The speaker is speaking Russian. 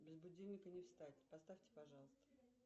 без будильника не встать поставьте пожалуйста